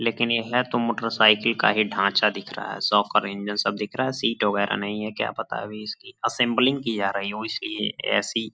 लेकिन यह तो मोटरसाइकिल का ही ढांचा दिख रहा है। शाकर इंजन दिख रहा है। सीट वगेरा नहीं है। क्या पता है अभी उसकी एसेबलिंग की जा रही है। वो इसलिए ऐसी --